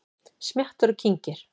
Smjattar og kyngir.